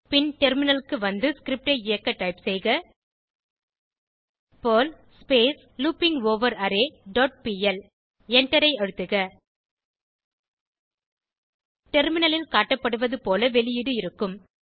பின் டெர்மினலுக்கு வந்து ஸ்கிரிப்ட் ஐ இயக்க டைப் செய்க பெர்ல் லூப்பிங்கவரரே டாட் பிஎல் எண்டரை அழுத்துக டெர்மினலில் காட்டப்படுவது போல வெளியீடு இருக்கும்